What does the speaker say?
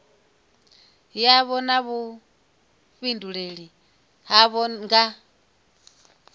yavho na vhuifhinduleli havho nga